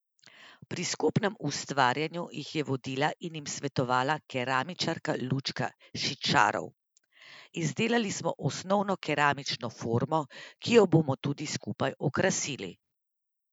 Pri skupnem ustvarjanju jih je vodila in jim svetovala keramičarka Lučka Šićarov: 'Izdelali smo osnovno keramično formo, ki jo bomo tudi skupaj okrasili.